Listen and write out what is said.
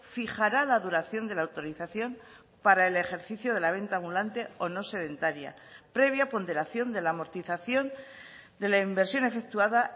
fijará la duración de la autorización para el ejercicio de la venta ambulante o no sedentaria previa ponderación de la amortización de la inversión efectuada